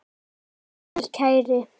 Farðu vel, kæri.